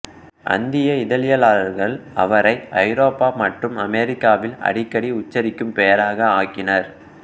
அந்நிய இதழியலாளர்கள் அவரை ஐரோப்பா மற்றும் அமெரிக்காவில் அடிக்கடி உச்சரிக்கும் பெயராக ஆக்கினர்